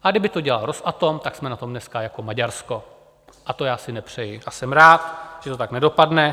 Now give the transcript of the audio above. A kdyby to dělal Rosatom, tak jsme na tom dneska jako Maďarsko, a to já si nepřeji a jsem rád, že to tak nedopadne.